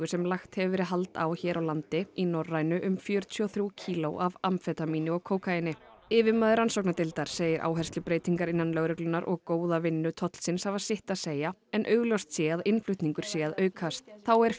sem lagt hefur verið hald á hér á landi í Norrænu um fjörutíu og þrjú kíló af amfetamíni og kókaíni yfirmaður rannsóknardeildar segir áherslubreytingar innan lögreglunnar og góða vinnu tollsins hafa sitt að segja en augljóst sé að innflutningur sé að aukast þá er